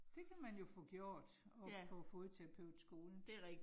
Det kan man jo få gjort oppe på Fodterapeutskolen